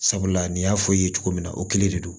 Sabula nin y'a fɔ i ye cogo min na o kelen de don